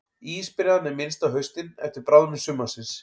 Ísbreiðan er minnst á haustin eftir bráðnun sumarsins.